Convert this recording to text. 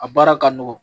A baara ka nɔgɔn